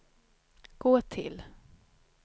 gå till